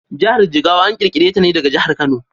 Jahar Jigawa an ƙirƙire ta ne daga jahar Kano.